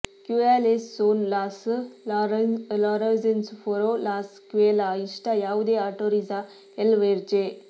ಕ್ಯುಯಾಲೆಸ್ ಸೋನ್ ಲಾಸ್ ರಾಝೋನ್ಸ್ ಪೊರ್ ಲಾಸ್ ಕ್ವೆ ಲಾ ಇಸ್ಟಾ ಯಾವುದೇ ಆಟೊರಿಝಾ ಎಲ್ ವೇರ್ಜೆ